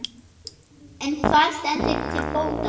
En hvað stendur til bóta?